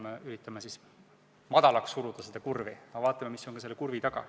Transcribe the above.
Me üritame seda kurvi laugemaks suruda, aga vaatame ikkagi seda ka, mis on selle kurvi taga.